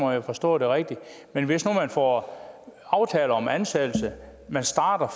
har forstået det rigtigt men hvis nu man får aftale om en ansættelse der starter